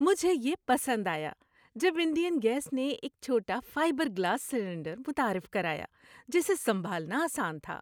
مجھے یہ پسند آیا جب انڈین گیس نے ایک چھوٹا فائبر گلاس سلنڈر متعارف کرایا جسے سنبھالنا آسان تھا۔